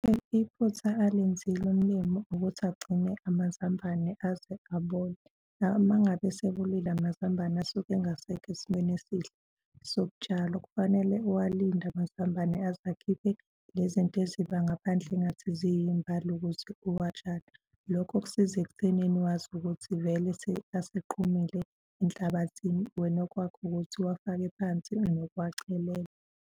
Iphutha alenzile umlimi ukuthi agcine amazambane aze abole. Uma ngabe esebolile amazambane asuke angasekho esimweni esihle sokutshalwa, kufanele uwalinde amazambane aze akhiphe lezi zinto eziba ngaphandle engathi ziyimbali ukuze uwatshale. Lokho kusiza ekuthenini wazi ukuthi vele aseqhumile enhlabathini wena okwakho ukuthi uwafake phansi nokuwachelela.